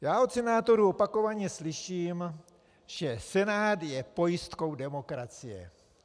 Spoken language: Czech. Já od senátorů opakovaně slyším, že Senát je pojistkou demokracie.